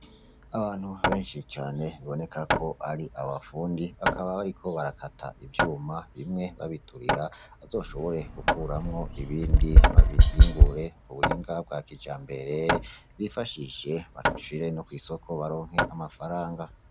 Abantu benshi cane biboneka ko ari abafundi, bakaba bariko barakata ivyuma bimwe babiturira, bazoshobore gukuramwo ibindi babihingure mu buhinga bwa kijambere, bifashishe babishire no kw'isoko baronke amafaranga.